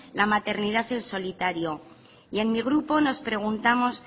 la maternidad en solitario y en mi grupo nos preguntamos